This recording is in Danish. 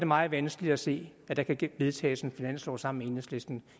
meget vanskeligt at se at der kan vedtages en finanslov sammen med enhedslisten